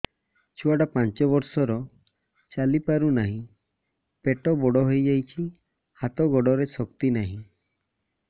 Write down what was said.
ଛୁଆଟା ପାଞ୍ଚ ବର୍ଷର ଚାଲି ପାରୁ ନାହି ପେଟ ବଡ଼ ହୋଇ ଯାଇଛି ହାତ ଗୋଡ଼ରେ ଶକ୍ତି ନାହିଁ